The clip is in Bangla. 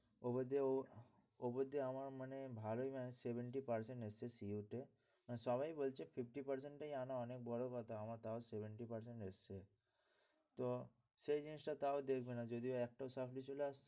ও বলছে ও বলছে আমার মানে ভালই মানে seventy percent এসছে CU তে, সবাই বলছে fifty percent টাই আনা অনেক বড় কথা আমার তাও seventy percent এসছে। তো সেই জিনিসটা তাও দেখবে না যদি একটাও supply চলে আসে,